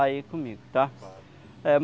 aí comigo, tá? Tá.